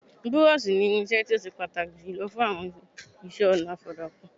Búrọ́ọ̀ṣì ni irinṣẹ́ tó ó se pàtàkì jùlọ fún iṣẹ́-ọnà ìfọ̀dàkùn.